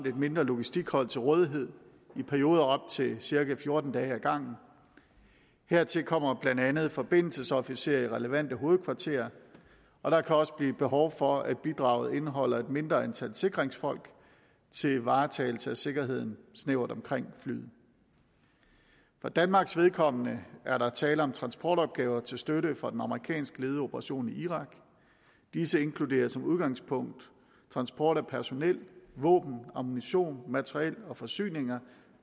et mindre logistikhold til rådighed i perioder af op til cirka fjorten dage ad gangen hertil kommer blandt andet forbindelsesofficerer i relevante hovedkvarterer og der kan også blive behov for at bidraget indeholder et mindre antal sikringsfolk til varetagelse af sikkerheden snævert omkring flyet for danmarks vedkommende er der tale om transportopgaver til støtte for en amerikansk ledet operation i irak disse inkluderer som udgangspunkt transport af personel våben ammunition materiel og forsyninger